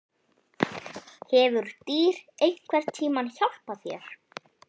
Hefur dýr einhvern tíma hjálpað þér?